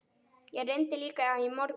Ég reyndi líka í morgun.